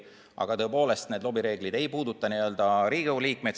Aga tõepoolest, need lobireeglid ei puuduta Riigikogu liikmeid.